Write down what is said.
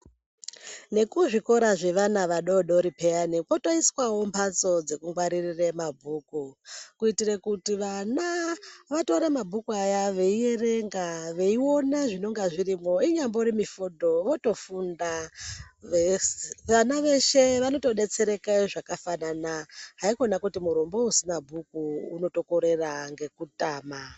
Nekuzvikora zvevana vadodori peyani kwotoiswawo mhatso dzekungwarire mabhuku kuitire kuti vana vatore mabhuku aya veierenga veiona zvinonga zvirimwo inyambori mifodho votofunda vana veshe vanotodetsereka zvakafanana haiwa kuti murombo usina bhuku unotokorera ngekutama.